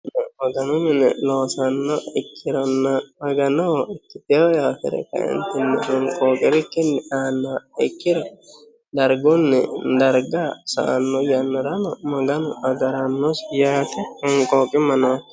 Maganu mine loosanoha ikkirona maganoho ikkiteho coye afire kaenitini honiqoqirikkin annoha ikkiro darigunni darigga sa'anno yannarano maganu agaranosi yaate honiqoqima nooki daafo